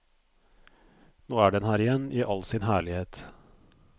Nå er den her igjen i all sin herlighet.